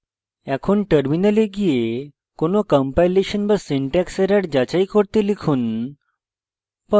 এখন terminal গিয়ে কোনো কম্পাইলেশন বা syntax error যাচাই করতে লিখুন